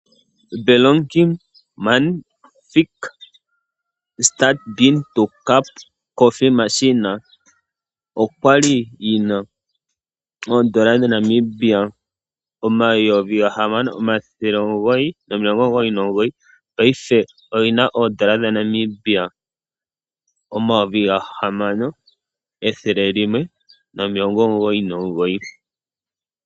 Delonghi Magnifica Start Bean to Cup Coffee Machine, okwali yi na oodola dha Namibia 6999, paife oyi na oodola dha Namibia 6199.